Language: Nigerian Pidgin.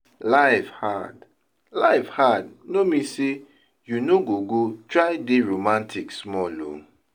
life hard life hard no min sey you no go go try dey romatik smal o